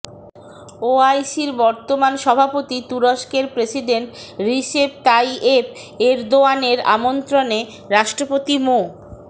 ওআইসির বর্তমান সভাপতি তুরস্কের প্রেসিডেন্ট রিসেপ তাইয়েপ এরদোয়ানের আমন্ত্রণে রাষ্ট্রপতি মো